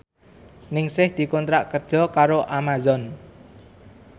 Ningsih dikontrak kerja karo Amazon